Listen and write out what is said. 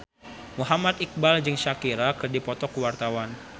Muhammad Iqbal jeung Shakira keur dipoto ku wartawan